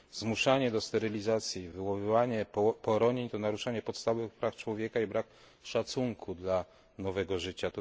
Zmuszanie do sterylizacji, wywoływanie poronień to naruszanie podstawowych praw człowieka i brak szacunku dla nowego życia.